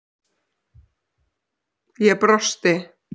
Ég brosti.